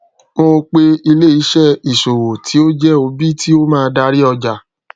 mọ pe ileiṣẹ isowo ti o jẹ obi ti o maa dari ọja